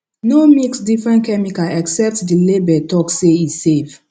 no mix different chemical except the label talk say e safe